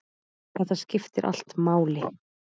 Þetta skiptir allt máli.